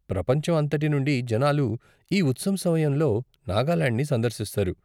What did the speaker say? ప్రపంచం అంతటి నుండి జనాలు ఈ ఉత్సవం సమయంలో నాగాలాండ్ని సందర్శిస్తారు.